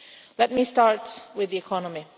Let me start with the economy.